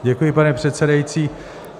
Děkuji, pane předsedající.